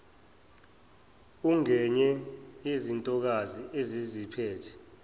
ungenye yezintokazi eziziphethe